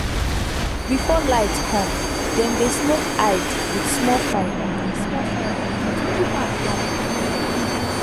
before light come dem dey smoke hide with small fire small fire to keep am long